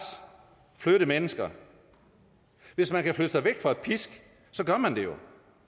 flytte mennesker hvis man kan flytte sig væk fra pisk gør man det jo